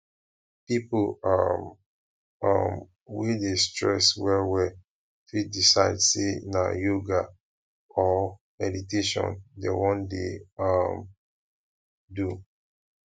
pipo um um wey dey stress well well fit decide sey na yoga or meditation dem wan dey um do